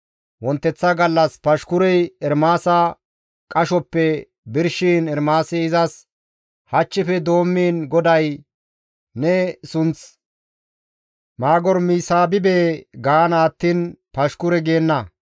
Wonteththa gallas Pashkurey Ermaasa qashoppe birshiin Ermaasi izas, «Hachchife doommiin GODAY ne sunth Maagormisaabibe gaana attiin Pashkure geenna.